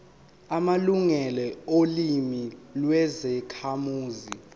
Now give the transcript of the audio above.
amalungelo olimi lwezakhamuzi